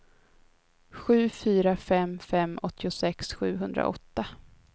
sju fyra fem fem åttiosex sjuhundraåtta